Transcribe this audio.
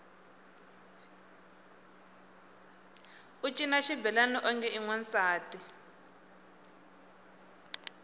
u cina xibelani onge i wansati